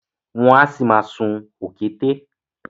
Wọ́n á ṣì ma sún òkété